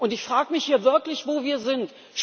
Ich frag mich hier wirklich, wo wir sind?